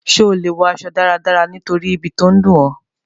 Sé o le wo aso dáradára nítorí ibi to n dùn ọ?